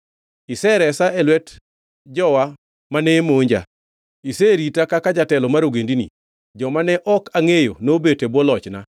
“Iseresa e lwet jowa mane monja; iserita kaka jatelo mar ogendini. Joma ne ok angʼeyo nobet e bwo lochna,